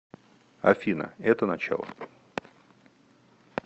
афина это начало